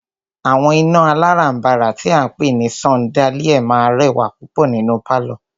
Àwọn iná alárànbàrà tí a ń pé ní ṣandáliá máà rẹwà púpọ̀ nínú pálọ̀.